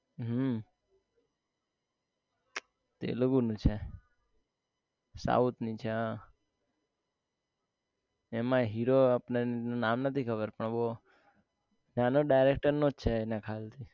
હમ તેલુગુ ની છે south ની છે હા એમાં હીરો આપડે નામ નથી ખબર પર વો ત્યાં નો director નો છે એના ખ્યાલ થી